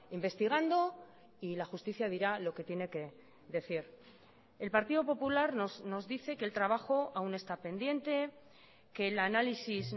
investigando y la justicia dirá lo que tiene que decir el partido popular nos dice que el trabajo aún está pendiente que el análisis